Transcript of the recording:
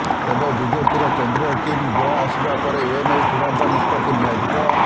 ତେବେ ବିଜେପିର କେନ୍ଦ୍ରୀୟ ଟିମ୍ ଗୋଆ ଆସିବା ପରେ ଏନେଇ ଚୂଡାନ୍ତ ନିଷ୍ପତ୍ତି ନିଆଯିବ